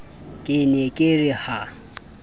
ke ne ke re ha